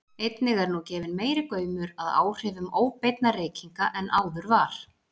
Einnig er nú gefinn meiri gaumur að áhrifum óbeinna reykinga en áður var.